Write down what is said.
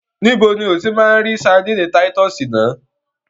Níbo ni o ti máa lọ gba ṣadínnì táyítọ́sì náà?